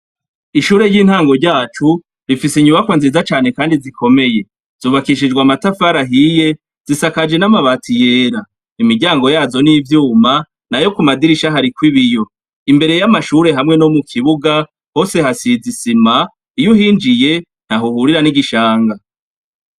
Ishure y'intango ryacu, rifise inyubakwa nziza cane kandi zikomeye. zubakishujwe amatafari ahiye, zisakajwe namabati yera. Imiryango yazo n'ivyuma ,nayo kumadirisha hariko ibiyo. Imbere y'amashure hamwe no mu kibuga hose hasize isima, iyuhinjiye ntahuhurira n'igishanga.